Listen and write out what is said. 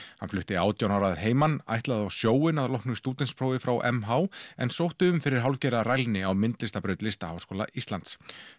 hann flutti átján ára að heiman ætlaði á sjóinn að loknu stúdentsprófi frá m h en sótti um fyrir hálfgerða rælni á myndlistarbraut Listaháskóla Íslands